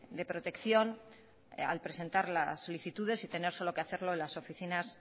de protección al presentar las solicitudes y tener solo que hacerlo las oficinas